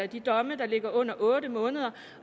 de domme der ligger under otte måneder